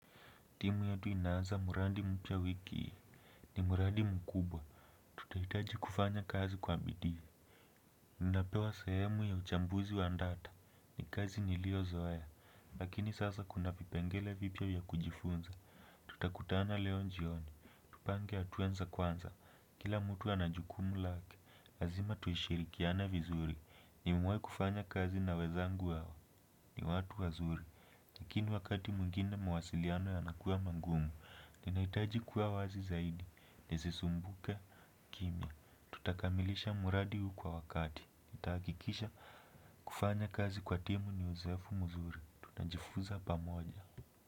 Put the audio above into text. Timu yetu inaanza mraadi mpya wiki hii ni mradi mkubwa. Tutahitaji kufanya kazi kwa bidii. Ninapewa sehemu ya uchambuzi wa data ni kazi niliozoea. Lakini sasa kuna vipengele vipya vya kujifunza. Tutakutana leo jioni. Tupange hatua za kwanza. Kila mtu anajukumu lake. Lazima tushirikiane vizuri. Nimewahi kufanya kazi na wenzangu wao. Ni watu wazuri. Lakini wakati mwingine mawasiliano yanakua ma gumu. Ninahitaji kuwa wazi zaidi, nisisumbuke, kimya. Tutakamilisha mradi huu kwa wakati nitahakikisha kufanya kazi kwa timu ni uzoefu mzuri. Tutajifuza pamoja.